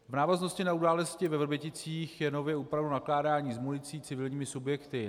V návaznosti na události ve Vrběticích je nově upraveno nakládání s municí civilními subjekty.